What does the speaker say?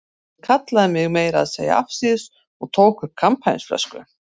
Hann kallaði mig meira að segja afsíðis og tók upp kampavínsflösku.